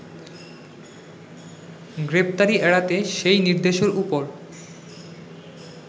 গ্রেপ্তারি এড়াতে সেই নির্দেশের ওপর